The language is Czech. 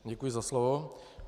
Děkuji za slovo.